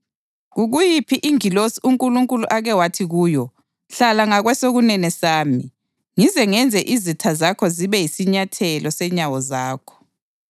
Kukuyiphi ingilosi uNkulunkulu ake wathi kuyo: “Hlala ngakwesokunene sami; ngize ngenze izitha zakho zibe yisinyathelo senyawo zakho” + 1.13 AmaHubo 110.1?